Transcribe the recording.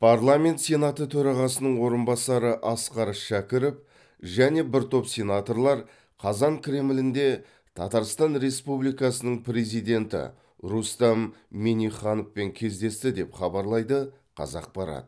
парламент сенаты төрағасының орынбасары асқар шәкіров және бір топ сенаторлар қазан кремлінде татарстан республикасының президенті рустам миннихановпен кездесті деп хабарлайды қазақпарат